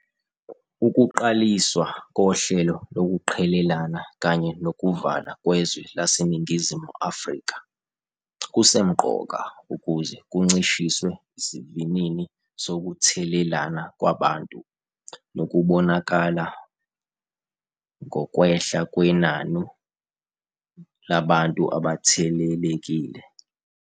Ukuqaliswa kohlelo lokuqhelelana kanye nokuvalwa kwezwe laseNingizimu Afrika kusemqoka ukuze kuncishiswe isivinini sokuthelelana kwabantu, nokubonakala ngokwehla kwenani labantu abathelelekile.